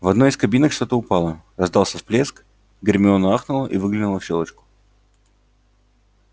в одной из кабинок что-то упало раздался всплеск гермиона ахнула и выглянула в щёлочку